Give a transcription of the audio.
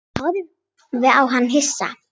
Ég horfði á hann hissa.